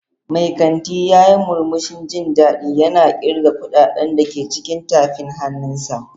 Mai kanti ya yi murmushin jin daɗi yana ƙirga kuɗaɗen da ke cikin tafin hannunsa.